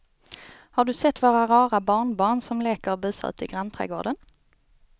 Har du sett våra rara barnbarn som leker och busar ute i grannträdgården!